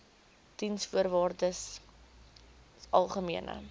diensvoorwaardesalgemene